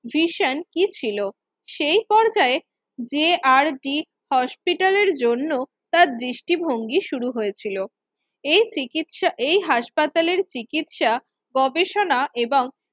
Vision কি ছিল সেই পর্যায়ে যে আর ডি হসপিটালের জন্য তার দৃষ্টিভঙ্গি শুরু হয়েছিল এই চিকিৎসা এই হাসপাতালে চিকিৎসা গবেষণা এবং